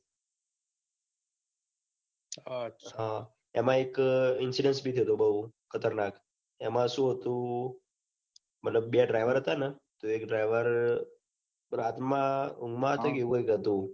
હ એમાં એક incident થયો તો બહુ ખતરનાક એમાં સુ હતુ મતલબ બે driver હતાને એક driver રાતમાં ઊંઘમાં હતોને એવું કૈક હતું